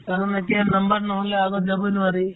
কাৰণ এতিয়া number নহ'লে আগত যাবই নোৱাৰি